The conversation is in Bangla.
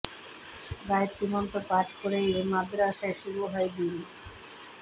গায়েত্রী মন্ত্র পাঠ করেই এই মাদ্রাসায় শুরু হয় দিন